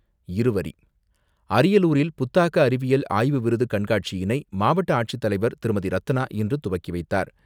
இருவரி அரியலூரில், புத்தாக்க அறிவியல் ஆய்வு விருது கண்காட்சியினை மாவட்ட ஆட்சித்தலைவர் திருமதி.ரத்னா இன்று துவக்கி வைத்தார்.